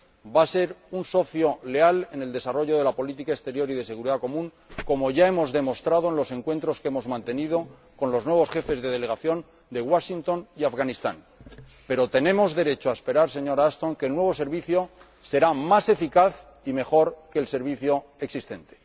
va a ser un socio leal en el desarrollo de la política exterior y de seguridad común, como ya hemos demostrado en los encuentros que hemos mantenido con los nuevos jefes de delegación de Washington y Afganistán, pero tenemos derecho a esperar, señora Ashton, que el nuevo servicio será más eficaz y mejor que el existente.